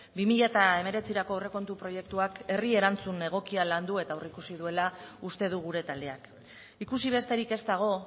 bi mila hemeretzirako aurrekontu proiektuak herri erantzun egokia landu eta aurreikusi duela uste du gure taldeak ikusi besterik ez dago